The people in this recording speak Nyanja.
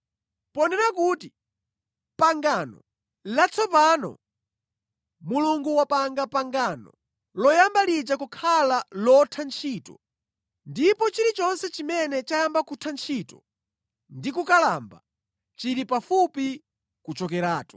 Ponena kuti, pangano “latsopano” Mulungu wapanga pangano loyamba lija kukhala lotha ntchito, ndipo chilichonse chimene chayamba kutha ntchito ndi kukalamba, chili pafupi kuchokeratu.